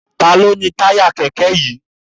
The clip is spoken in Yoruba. Ta ló ni táyà kẹ̀kẹ́ yìí?